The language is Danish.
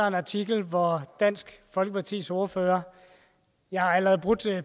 en artikel hvor dansk folkepartis ordfører jeg har allerede brudt